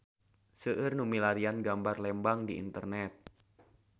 Seueur nu milarian gambar Lembang di internet